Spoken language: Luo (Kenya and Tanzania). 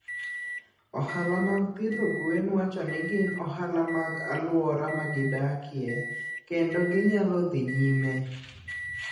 Ohala mag pidho gwen wacho ni gin ohala mag alwora ma gidakie kendo ginyalo dhi nyime.